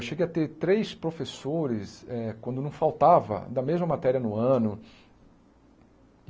Eu cheguei a ter três professores, eh quando não faltava, da mesma matéria no ano.